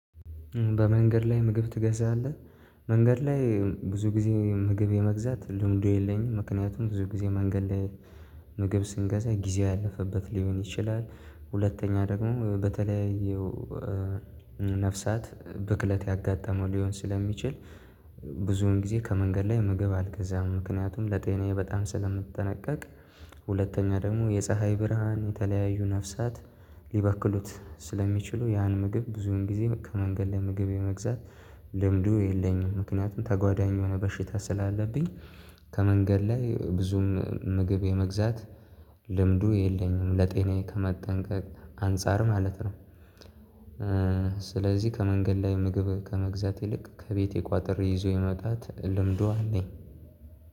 በመንገድ ላይ ምግብ ትገዛለህ? መንገድ ላይ ብዙ ጊዜ ምግብ የመግዛት ልምዱ የለኝም። ምክንያቱም ብዙ ጊዜ መንገድ ላይ ምግብ ስንገዛ ጊዜው ያለፈበት ሊሆን ይችላል። ሁለተኛ ደግሞ በተለያዩ ነፍሳት ብክለት ያጋጠመው ሊሆን ስለሚችል። ብዙውን ጊዜ ከመንገድ ላይ ምግብ አልገዛም ምክንያቱም ለጤናዬ በጣም ስለምትጠነቀቅ። ሁለተኛ ደግሞ የፀሀይ ብርሃን የተለያዩ ነፍሳት ሊበክሉት ስለሚችሉ ያን ምግብ ብዙን ጊዜ ከመንገድ ለመግዛት የመግዛት ልምዱ የለኝም። ምክንያቱም ተጓዳኝ የሆነ በሽታ ስላለብኝ። ከመንገድ ላይ ብዙም ምግብ የመግዛት ልምዱ የለኝም ለጤናዬ ከመጠንቀቅ አንፃር ማለት ነው። ስለዚህ ከመንገድ ላይ ምግብ ከመግዛት ይልቅ ከቤቴ ቋጥር ይዞ የመጣት ልምዷ ነኝ።